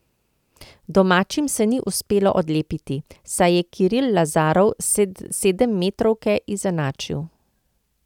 Domačim se ni uspelo odlepiti, saj je Kiril Lazarov s sedemmetrovke izenačil.